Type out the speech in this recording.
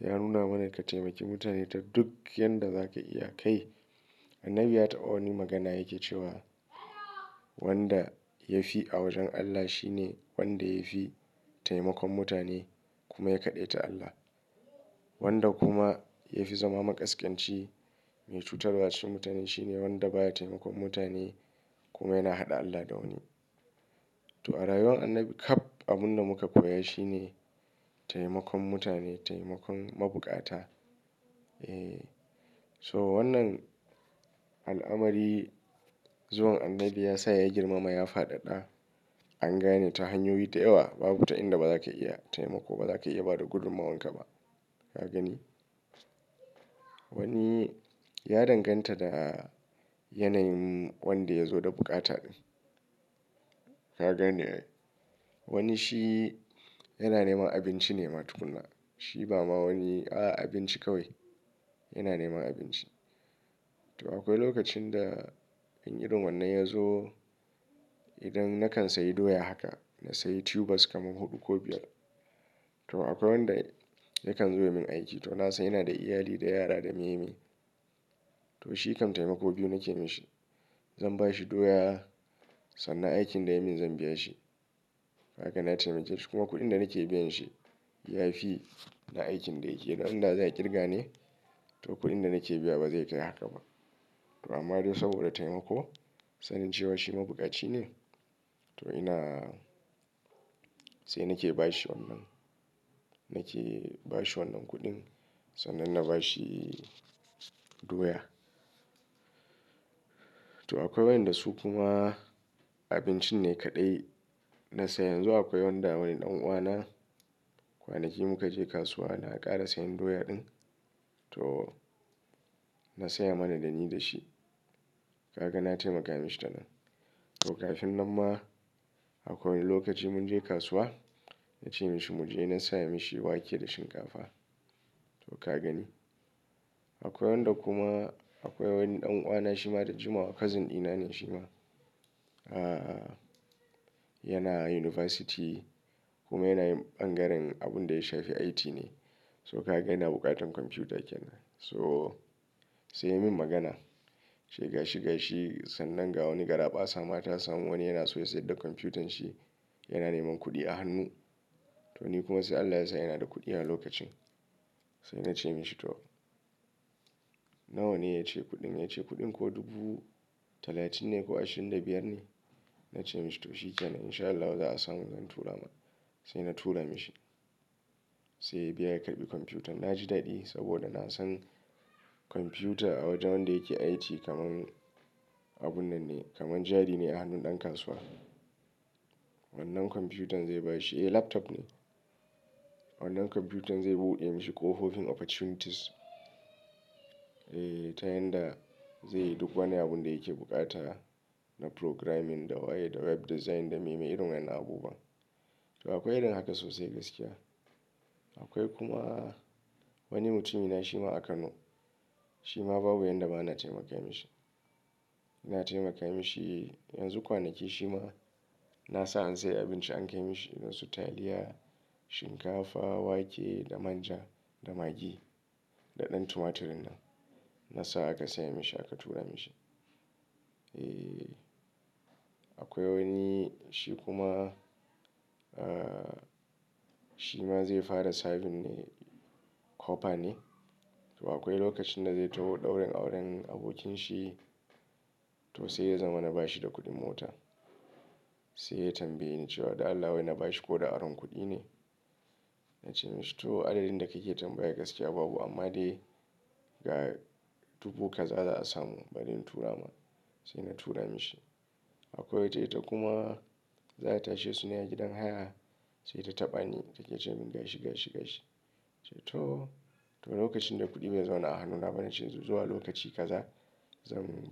ya nuna mana ka taimaki mutane ta duk yadda za ka iya kai. Annabi ya taɓa wani magana yake cewa wanda ya fi a wajen Allah shi ne wanda ya fi taimakon mutane kuma ya kaɗeta Allah. Wanda kuma ya fi zama maƙasƙanci mai cutarwa cikin mutane shi ne wanda baya taimakon mutane kuma yana haɗa Allah da wani. To a rayuwar annabi kaf abun da muka koya shi ne taimakon mutane, taimakon mabuƙata. So wannan al'amari zuwan Annabi ya sa ya girmama ya faɗaɗa. An gane ta hanyoyi da yawa babu ta inda baza ka iya taimako baza ka iya bada gudummawanka ba. Ka gani? Wani ya danganta da yanayin wanda ya zo da bukata. Ka gane ai, wani shi yana neman abinci ne ma tukunna. Shi ba ma wani a a abinci kawai. Yana neman abinci. To akwai lokacin da an yi irin wannan ya zo idan nakan sayi doya haka na sayi tubers kaman huɗu ko biyar. To akwai wanda yakan zo ya min aiki to na san yana da iyali da yara da me me. To shi kam taimako biyu nake mishi. Zan ba shi doya sannan aikin da ya min zan biya shi. Ka gani na taimake shi kuma kuɗin da nake biyan shi ya fi na aikin da yake. Dan da zai a ƙirga ne to kuɗin da nake biya ba zai kai haka ba. To amma dai saboda taimako sanin cewa shi mabuƙaci ne to ina sai nake ba shi wannan, nake ba shi wannan kuɗin sannan na ba shi doya. To akwai wanda su kuma abinci ne kaɗai. Na san yanzu akwai wanda wani ɗan uwana kwanaki muka je kasuwa na ƙara sayan doya ɗin to na saya mana da ni da shi. Ka ga na taimaka mishi ta nan. To kafin nan ma akwai wani lokaci mun je kasuwa na ce mishi mu je na saya mishi wake da shinkafa. To ka gani? Akwai wanda kuma akwai wani ɗan uwana shi ma da jimawa cousin dina ne shi ma. A, yana unibasiti kuma yana yin ɓangaren abun da ya shafi IT ne. So ka yana buƙatan kwamfuta kenan. So sai ya min magana. Shi gashi gashi sannan ga wani garaɓasa ma ta samu wani yana so ya sayar da kwamfutan shi yana neman kuɗi a hannu. To ni kuma sai Allah Ya sa ina da kuɗi a lokacin. Sai na ce mishi to, nawa ne ya ce kuɗin? Ya ce kuɗin ko dubu talatin ne ko ashirin da biyar ne. Na ce mishi to shikenan in sha Allahu za a samu zan tura ma. Sai na tura mishi. Sai ya biya ya karɓi kwamfutan. Na ji daɗi saboda na san kwamfuta a wajen wanda yake IT kaman abun nan ne kaman jari ne a hannun ɗan kasuwa. Wannan kwamfutan zai ba shi, eh laptop ne. Wannan kwamfutan zai buɗe mishi ƙohofin opportunities. Eh ta yanda zai duk wani abun da yake bukata na programming da waye da web design da me me irun wannan abubuwa. To akwai irin haka sosai gaskiya. Akwai kuma wani mutumi na shi ma a Kano. Shi ma babu yanda ba na taimaka mishi. Na taimaka mishi yanzu kwanaki shi ma na sa an sayi abinci an kai mishi irin su taliya, shinkafa, wake da manja da magi, da ɗan tumaturin nan. Na sa aka saya mishi aka tura mishi. Eh, akwai wani shi kuma, ah, shi ma zai fara serving ne cooper ne. To akwai lokacin da zai taho ɗaurin auren abokin shi to sai ya zama na ba shi da kuɗin mota. Sai ya tambaye ni cewa "Da Allah wai na ba shi ko da aron kuɗi ne?" Na ce mishi to "Adadin da kake tambaya gaskiya babu amma dai ga dubu kaza za a samu bari in tura ma." Sai na tura mishi. Akwai wata ita kuma za ta tashi suna gidan haya sai ta taɓa ni take ce min gashi gashi gashi. To, to lokacin da kuɗi bai zauna a hannuna ba na cewa zuwa lokaci kaza zan.